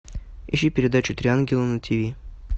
ищи передачу три ангела на тиви